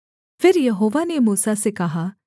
फिर यहोवा ने मूसा से कहा